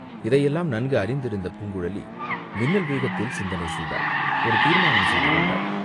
இதையெல்லாம் நன்கு அறிந்திருந்த பூங்குழலி மின்னல் வேகத்தில் சிந்தனை செய்தாள், ஒரு தீர்மானம் செய்து கொண்டாள்.